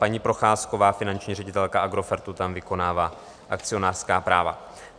Paní Procházková, finanční ředitelka Agrofertu, tam vykonává akcionářská práva.